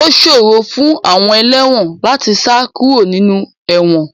Ó ṣòro fún àwọn ẹlẹ́wọ̀n láti sá kúrò nínú ẹ̀wọ̀n